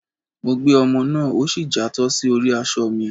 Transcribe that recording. Mọ gbé omò náá, o sí játọ sí orí aṣọ mí